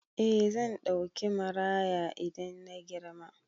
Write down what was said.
Eh zan ɗauki maraya idan na girma.